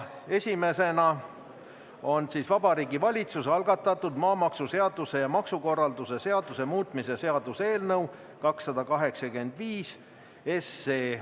Esimesena Vabariigi Valitsuse algatatud maamaksuseaduse ja maksukorralduse seaduse muutmise seaduse eelnõu 285.